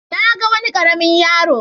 Na ga wani ƙaramin yaro.